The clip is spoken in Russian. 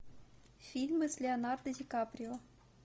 фильмы с леонардо ди каприо